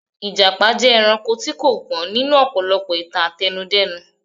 Ìjàpá jẹ́ ẹranko tí kò gbọ́n nínú ọ̀pọ̀lọpọ̀ ìtàn àtẹnudẹ́nu.